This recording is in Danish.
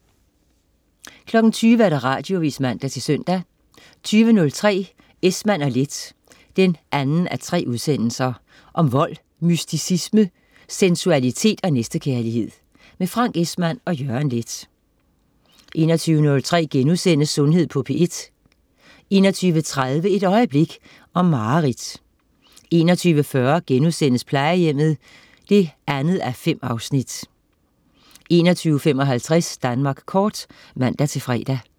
20.00 Radioavis (man-søn) 20.03 Esmann & Leth 2:3. Om vold, mysticisme, sensualitet og næstekærlighed. Frank Esmann og Jørgen Leth 21.03 Sundhed på P1* 21.30 Et øjeblik. Om mareridt 21.40 Plejehjemmet 2:5* 21.55 Danmark kort (man-fre)